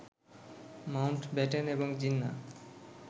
Mount Batten এবং জিন্না